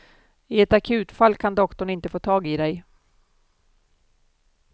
I ett akutfall kan doktorn inte få tag i dig.